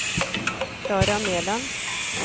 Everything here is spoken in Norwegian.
Klara Mæland